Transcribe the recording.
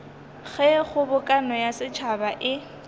ge kgobokano ya setšhaba e